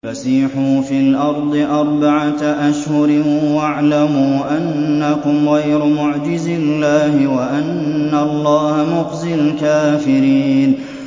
فَسِيحُوا فِي الْأَرْضِ أَرْبَعَةَ أَشْهُرٍ وَاعْلَمُوا أَنَّكُمْ غَيْرُ مُعْجِزِي اللَّهِ ۙ وَأَنَّ اللَّهَ مُخْزِي الْكَافِرِينَ